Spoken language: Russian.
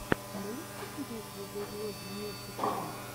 можешь показать видеоблоги нюси тв